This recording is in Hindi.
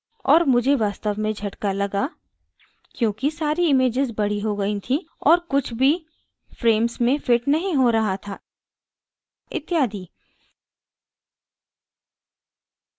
और मुझे वास्तव में झटका लगा क्योंकि सारी images बड़ी हो गयी थीं और कुछ भी frames में फिट नहीं हो रहा था इत्यादि